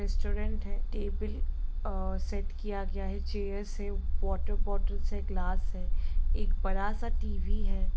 Restaurant है table अ set किया गया है चेयर्स है वॉटर बॉटल्स है ग्लास है एक बड़ा सा टी.वी. है।